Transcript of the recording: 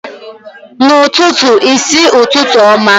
N'ututu i si, Ututu oma.